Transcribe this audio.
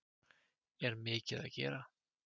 Er mikið að gera?